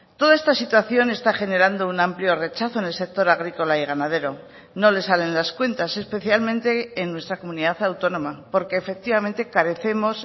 toda esta situación está generando un amplio rechazo en el sector agrícola y ganadero no les salen las cuentas especialmente en nuestra comunidad autónoma porque efectivamente carecemos